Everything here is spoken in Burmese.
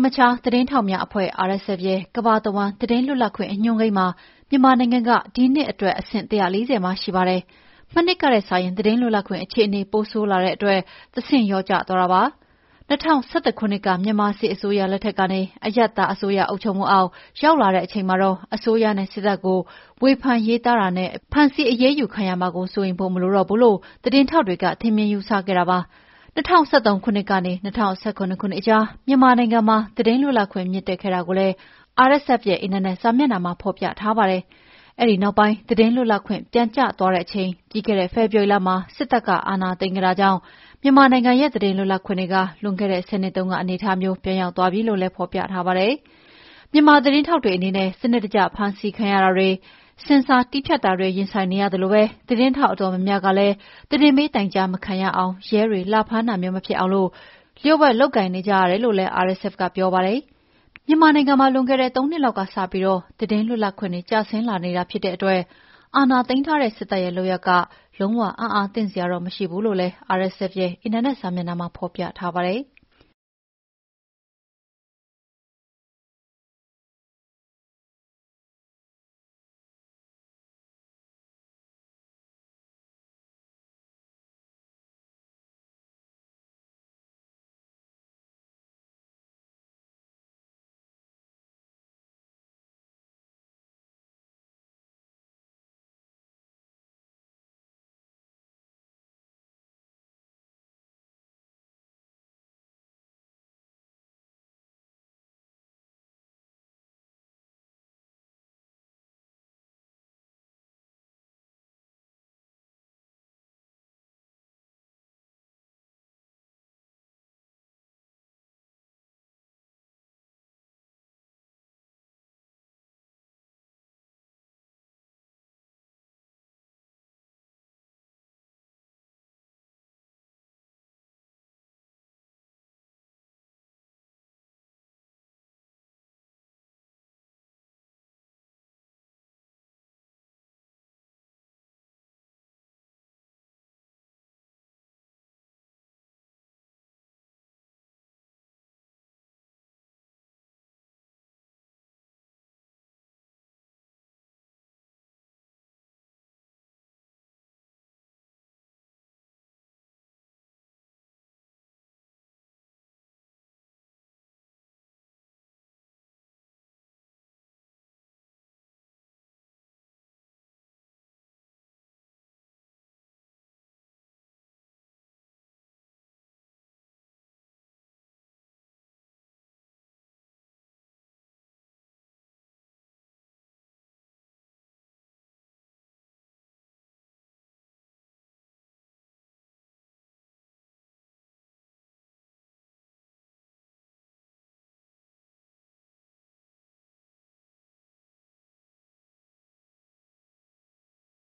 မခြားသတင်းထောက်များအဖွဲ့ RSF ရဲ့ ကမ္ဘာတဝှမ်း သတင်းလွတ်လပ်မှု အညွှန်းကိန်းမှာ မြန်မာနိုင်ငံက ၂၀၂၁ ခုနှစ်အတွက် ဆင့် ၁၄၀ မှာ ရှိပါတယ်။ မနှစ်ကထက်စာရင် သတင်းလွတ်လပ်ခွင့်အခြေအနေ ပိုဆိုးလာတဲ့အတွက် ၁ ဆင့် လျော့ကျသွားတာဖြစ်ပါတယ်။ ၂၀၁၁ ခုနှစ်က မြန်မာစစ်အစိုးရ အုပ်ချုပ်မှုအောက်ကနေ အရပ်သားအစိုးရအုပ်ချုပ်မှုအောက် ရောက်လာတဲ့အချိန်မှာ အစိုးရနဲ့ စစ်တပ်ကို ဝေဖန်ရေးသားတာနဲ့ ဖမ်းဆီးအရေးယူခံရမှာကို စိုးရိမ်ဖို့မလိုတော့ဘူးလို့ သတင်းထောက်တွေ ထင်မြင်ယူဆခဲ့ကြတာပါ။ ၂၀၁၃ ခုနှစ်ကနေ ၂၀၁၇ ခုနှစ်ကြား မြန်မာနိုင်ငံမှာ သတင်းလွတ်လပ်ခွင့်မြင့်တက်ခဲ့တာကိုလည်း RSF ရဲ့ အင်တာနက်စာမျက်နှာမှာ ဖော်ပြထားပါတယ်။ အဲဒီနောက်ပိုင်း သတင်းလွတ်လပ်ခွင့် ပြန်ကျသွားတဲ့အချိန် ပြီးခဲ့တဲ့ဖေဖော်ဝါရီလမှာ စစ်တပ်က အာဏာသိမ်းခဲ့တာကြောင့် မြန်မာနိုင်ငံရဲ့ သတင်းလွတ်လပ်ခွင့်တွေက လွန်ခဲ့တဲ့ ၁၀ နှစ်တုန်းက အနေအထားမျိုး ပြန်ရောက်သွားပြီလို့လည်း ဖော်ပြထားပါတယ်။ မြန်မာသတင်းထောက်တွေအနေနဲ့ စနစ်တကျဖမ်းဆီးခံရတာတွေ၊ ဆင်ဆာတည်းဖြတ်တာတွေနဲ့ ရင်ဆိုင်နေရသလို သတင်းထောက်အတော်များများကလည်း သတင်းပေးတိုင်ကြားတာ မခံအောင်၊ ရဲတွေ လာဖမ်းတာမျိုး မဖြစ်အောင် လ ျှို့ဝှက်လုပ်ကိုင်ကြလိမ့်မယ်လို့လည်း RSF ကပြောပါတယ်။ မြန်မာနိုင်ငံမှာ လွန်ခဲ့တဲ့ ၃ နှစ်လောက်ကစပြီး သတင်းလွတ်လပ်ခွင့်တွေ ကျဆင်းလာနေတာဖြစ်တဲ့အတွက် အာဏာသိမ်းထားတဲ့ စစ်တပ်ရဲ့ လုပ်ရပ်တွေက လုံး၀ အံ့အားသင့်စရာတော့ မရှိဘူးလို့လည်း RSF ရဲ့ စာမျက်နှာမှာဖော်ပြထားပါတယ်။